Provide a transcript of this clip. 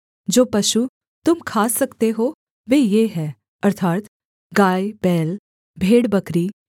जो पशु तुम खा सकते हो वे ये हैं अर्थात् गायबैल भेड़बकरी